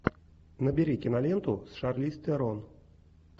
набери киноленту с шарлиз терон